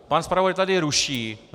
Pan zpravodaj tady ruší.